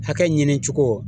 Hakɛ ɲini cogo